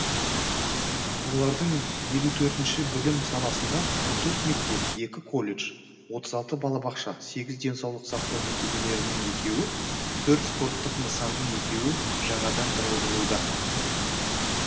олардың елу төртінші білім саласында он төрт мектеп екі колледж отыз алты балабақша сегіз денсаулық сақтау мекемелерінің екеуі төрт спорттық нысанның екеуі жаңадан тұрғызылуда